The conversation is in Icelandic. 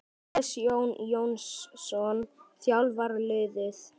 Hannes Jón Jónsson þjálfar liðið.